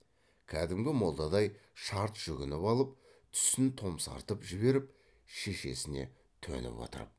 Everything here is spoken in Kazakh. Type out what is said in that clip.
кәдімгі молдадай шарт жүгініп алып түсін томсартып жіберіп шешесіне төніп отырып